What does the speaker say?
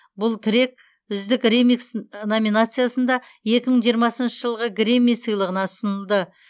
бұл трек үздік ремикс номинациясында екі мың жиырмасыншы жылғы грэмми сыйлығына ұсынылды